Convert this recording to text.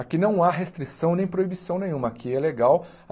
Aqui não há restrição nem proibição nenhuma, aqui é legal.